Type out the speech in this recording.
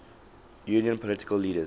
union political leaders